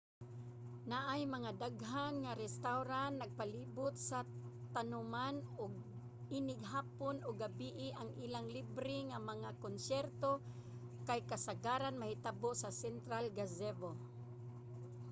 naay mga daghan nga restawran nagpalibot sa tanoman ug inig hapon ug gabie ang ilang libre nga mga konsyerto kay kasagaran mahitabo sa central gazebo